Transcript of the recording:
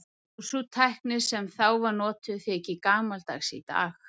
Og sú tækni sem þá var notuð þykir gamaldags í dag.